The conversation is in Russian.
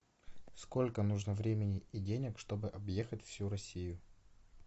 сколько нужно времени и денег чтобы объехать всю россию